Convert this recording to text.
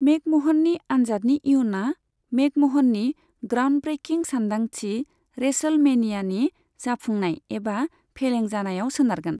मेकम'हननि आन्जादनि इयुना मेकम'हननि ग्राउन्डब्रेकिं सानदांथि, रेसलमेनियानि जाफुंनाय एबा फेलें जानायाव सोनारगोन।